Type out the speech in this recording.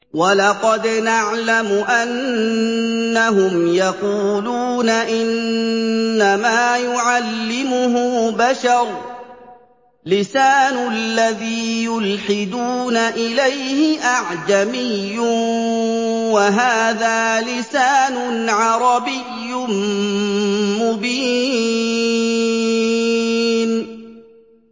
وَلَقَدْ نَعْلَمُ أَنَّهُمْ يَقُولُونَ إِنَّمَا يُعَلِّمُهُ بَشَرٌ ۗ لِّسَانُ الَّذِي يُلْحِدُونَ إِلَيْهِ أَعْجَمِيٌّ وَهَٰذَا لِسَانٌ عَرَبِيٌّ مُّبِينٌ